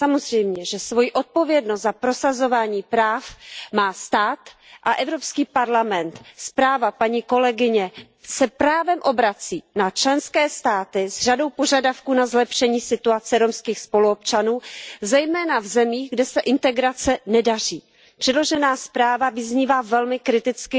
Samozřejmě, že svoji odpovědnost za prosazování práv má stát a Evropský parlament se právem obrací na členské státy s řadou požadavků na zlepšení situace romských spoluobčanů, zejména v zemích, kde se integrace nedaří. Předložená zpráva vyznívá velmi kriticky,